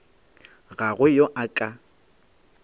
ga go yo a ka